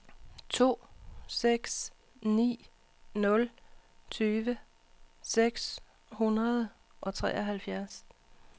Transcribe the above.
to seks ni nul tyve seks hundrede og treoghalvfjerds